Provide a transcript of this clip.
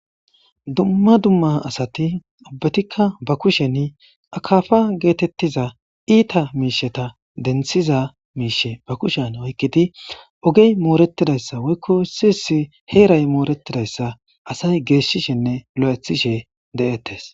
dumma dumma asati ubbetikka ba kushen akaafa geetettiza iita miisheta denthiza miishe ba kushen oykkidi ogey mooretidayssa woykko siyisi heeray mooretidayssa asay geeshishinne lo7ethishe de7ettes